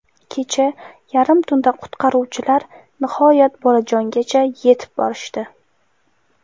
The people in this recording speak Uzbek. Kecha yarim tunda qutqaruvchilar nihoyat bolajongacha yetib borishdi.